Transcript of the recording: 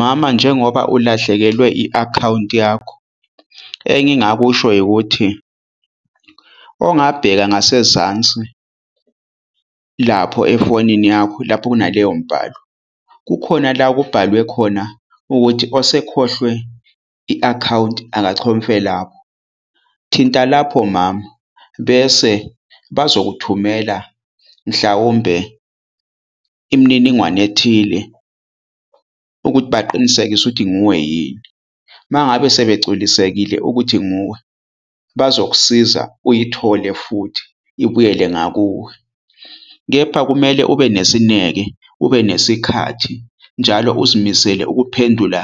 Mama, njengoba ulahlekelwe i-akhawunti yakho, engingakusho ikuthi ongabheka ngasezansi lapho efonini yakho lapho kunaleyo mbhalo kukhona la okubhalwe khona ukuthi osekhohliwe i-akhawunti akachofe lapho. Thinta lapho mama. Bese bazokuthumela, mhlawumbe imininingwane ethile ukuthi baqinisekise ukuthi nguwe yini, mangabe sebegculisekile ukuthi nguwe, bazokusiza uyithole futhi ibuyele ngakuwe. Kepha kumele ube nesineke, ubenesikhathi njalo uzimisele ukuphendula